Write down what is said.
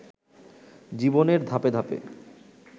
জীবনের ধাপে ধাপে